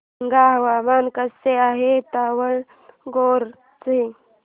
सांगा हवामान कसे आहे दावणगेरे चे